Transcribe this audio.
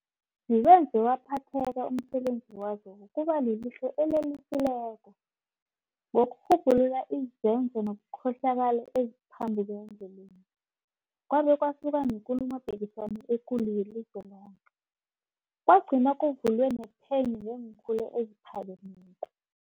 Ziwenze waphetheka umsebenzi wazo wokuba lilihlo elelusileko ngokurhubhulula izenzo zobukhohlakali neziphambuke endleleni, kwabe kwasuka nekulu mopikiswano ekulu yelizwe loke, kwagcina kuvulwe nephenyo ngeenkhulu eziphakemeko.